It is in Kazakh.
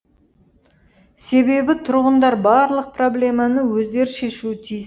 себебі тұрғындар барлық проблеманы өздері шешуі тиіс